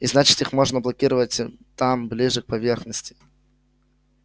и значит их можно блокировать там ближе к поверхности